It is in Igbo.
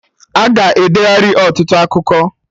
Aga edeghari ọtụtụ akụkọ